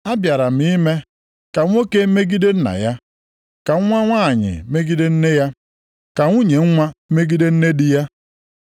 Abịara m ime, “ ‘Ka nwoke megide nna ya, ka nwa nwanyị megide nne ya, ka nwunye nwa megide nne di ya,